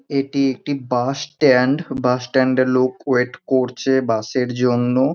এটি একটি bus stand. Bus স্ট্যান্ডে লোক ওয়েট করছে বাসের জন্য।